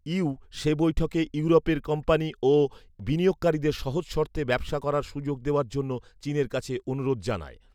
you সে বৈঠকে ইউরোপের কোম্পানি ও বিনিয়োগকারীদের সহজ শর্তে ব্যবসার করার সুযোগ দেওয়ার জন্য চীনের কাছে অনুরোধ জানায়